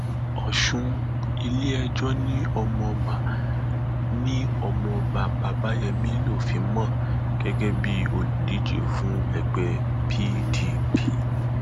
ọṣùn iléẹjọ ni ọmọọba ni ọmọọba babayémi lófin mọ gẹgẹ bíi olùdíje fún ẹgbẹ pdp